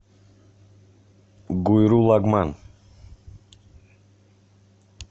гуйру лагман